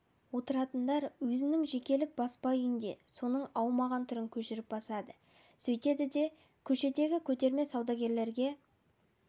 отыратындар өзінің жекелік баспа үйінде соның аумаған түрін көшіріп басады сөйтеді де көшедегі көтерме саудагерлерге